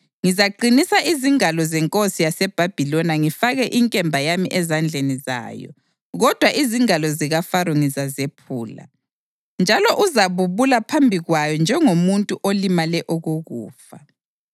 Ngizaqinisa izingalo zenkosi yaseBhabhiloni ngifake inkemba yami ezandleni zayo, kodwa izingalo zikaFaro ngizazephula, njalo uzabubula phambi kwayo njengomuntu olimale okokufa.